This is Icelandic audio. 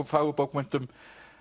fagurbókmenntum